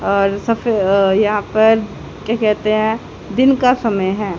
और सफ अ यहां पर क्या कहते हैं? दिन का समय है।